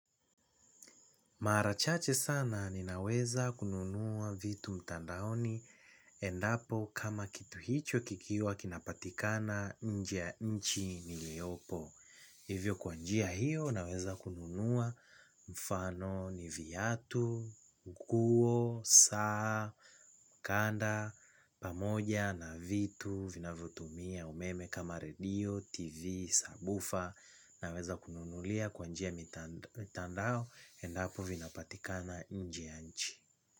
Mara chache sana ninaweza kununua vitu mtandaoni endapo kama kitu hicho kikiwa kinapatikana nje ya nchi nilipo. Hivyo, kwa njia hiyo, naweza kununua, kwa mfano, viatu, nguo, saa, mkanda, pamoja na vitu vinavyotumia umeme kama redio, TV, subwoofer. Naweza kununulia kwa njia mitandao endapo vinapatikana nje ya nchi.